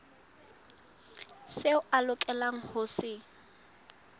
seo a lokelang ho se